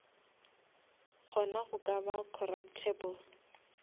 kgona go ka ba corruptable